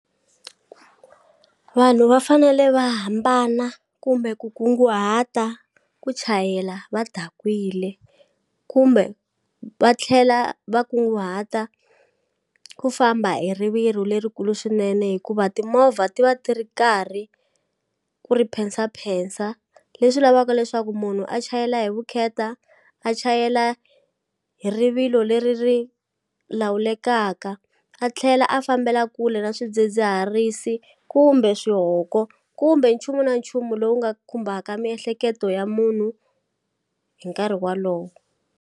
Vanhu va fanele va hambana kumbe ku kunguhata ku chayela va dakwile kumbe va tlhela va kunguhata ku famba hi rivilo lerikulu swinene hikuva timovha ti va ti ri karhi ku ri phensaphensa leswi lavaka leswaku munhu a chayela hi vukheta a chayela hi rivilo leri ri lawulekaka a tlhela a fambela kule na swidzidziharisi kumbe swihoko kumbe nchumu na nchumu lowu nga khumbaka miehleketo ya munhu hi nkarhi walowo.